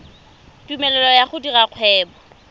tumelelo ya go dira kgwebo